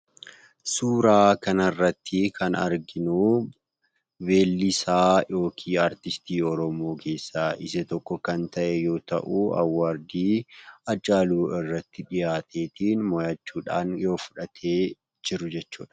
Suuraa kana irratti kan arginu, weellisaa yookiin aartistii Oromoo keessaa isa tokko kan ta'e yemmuu ta'u 'award' Haacaaluu irratti dhihaatee mo'achuudhaan yoo fudhatee jiru jechuudha.